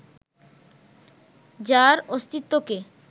যার অস্তিত্বকে